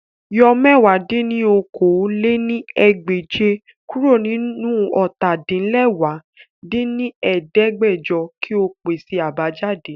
Yọ mẹ̀wá dín ní okòó-lé-ní-ẹgbẹ́je kuro ninu ọ́ta-din-lẹwá dín ní ẹ̀ẹ́dẹ́gbẹ́jọ ki o pese abajade!